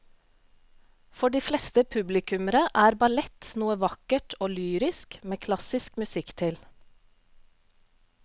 For de fleste publikummere er ballett noe vakkert og lyrisk med klassisk musikk til.